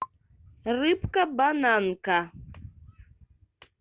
рыбка бананка